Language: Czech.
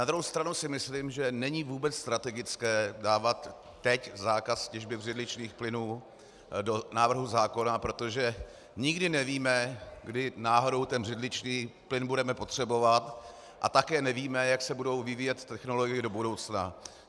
Na druhou stranu si myslím, že není vůbec strategické dávat teď zákaz těžby břidličných plynů do návrhu zákona, protože nikdy nevíme, kdy náhodou ten břidličný plyn budeme potřebovat, a také nevíme, jak se budou vyvíjet technologie do budoucna.